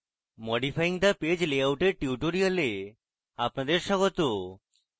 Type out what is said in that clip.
modifying the page layout এর tutorial আপনাদের স্বাগত